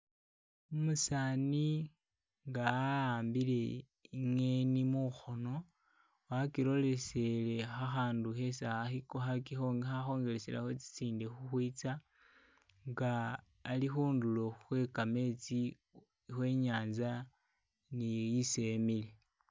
Umusaani nga a'ambile i ngheni mukhono wakiloleseye kha kha'ndu khesi ahi kohi kahi khakhongeleselakho tsitsindi khukhwitsa nga ali khundulo khwe kametsi khwe nyanza ni isi emile